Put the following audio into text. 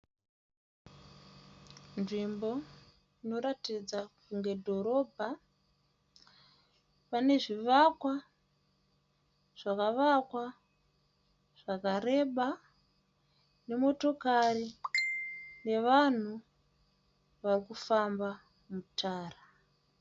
Nzvimbo inoratidza kunge dhorobha pane zvivakwa zvakavakwa zvakareba. Nemotokari nevanhu vari kufamba mutara.